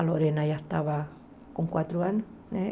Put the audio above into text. A Lorena já estava com quatro anos, né?